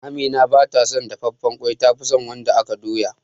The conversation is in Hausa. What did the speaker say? Amina ba ta son dafafen ƙwai ta fison wanda aka doya